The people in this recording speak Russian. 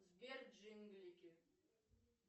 сбер джинглики